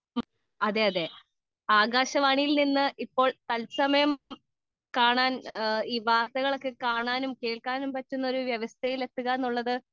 speaker 2 അതെയതെ ആകാശവാണിയിൽ നിന്ന് ഇപ്പോൾ തത്സമയം കാണാൻ വാർത്തകൾ ഒക്കെ കാണാനും കേൾക്കാനും പറ്റുന്ന വ്യവസ്ഥയിൽ എത്തുക എന്നുള്ളത്